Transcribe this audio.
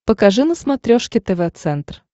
покажи на смотрешке тв центр